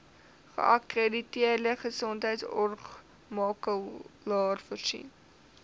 geakkrediteerde gesondheidsorgmakelaar voorsien